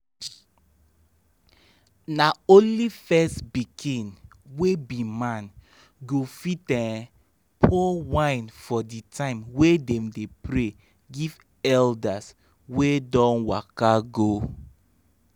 na only first pikin wey be man go fit um pour wine for the time wey dem dey pray give elders wey don waka go.